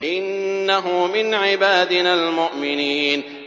إِنَّهُ مِنْ عِبَادِنَا الْمُؤْمِنِينَ